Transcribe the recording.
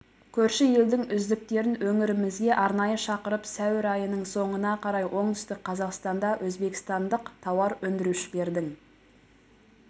көрші елдің үздіктерін өңірімізге арнайы шақырып сәуір айының соңына қарай оңтүстік қазақстанда өзбекстандық тауар өндірушілердің